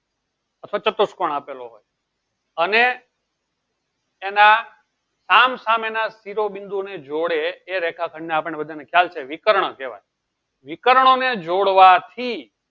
કટો શત્કોન આપેલો હોય એના સામ સામે ના બિંદુ ના જોડે એના રેખા ખંડ ને આપળે બધા ને ખ્યાલ છે વિકર્ણ કેહવાય વિકારનો ને જોડવા થી